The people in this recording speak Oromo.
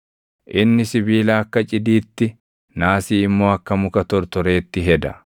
Inni sibiila akka cidiitti, naasii immoo akka muka tortoreetti heda.